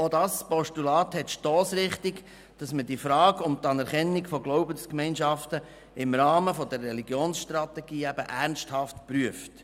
Auch dieses Postulat will, dass man die Frage um die Anerkennung von Glaubensgemeinschaften im Rahmen der Religionsstrategie ernsthaft prüft.